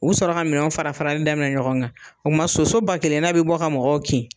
U bi sɔrɔ ka minɛn fara farali daminɛ ɲɔgɔn kan, o kuma soso ba kelenna bi bɔ ka mɔgɔw kin.